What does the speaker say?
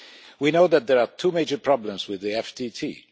We know that there are two major problems with the FTT.